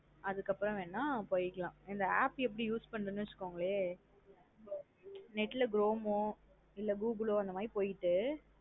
அதுக்கப்றம் வேணா போய்க்கலாம். இந்த app எப்டி use பண்றதுன்னு வச்சுகோங்களேன் Net லா chrome ஒ இல்ல google ஒ அந்த மாத்ரி போய்ட்டு. அதுக்கப்றம்.